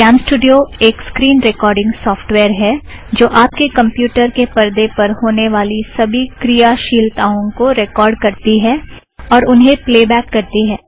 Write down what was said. CamStudio एक screen recording software है जो आप के कमप्युटर के परदे पर होने वाली सभी क्रियाशीलताओं को रेकॉर्ड़ करती है और उन्हें प्लेबॅक करती है